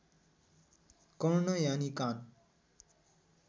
कर्ण यानि कान